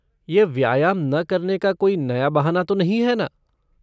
यह व्यायाम ना करने का कोई नया बहाना तो नहीं है ना?